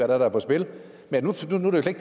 der er på spil men nu